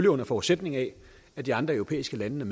under forudsætning af at de andre europæiske lande